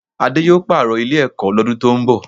Adé yóò pààrọ̀ Ilé-ẹ̀kọ́ lọ́dún tó ń bọ̀